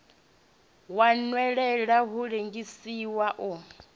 wa nwelela u lengisa u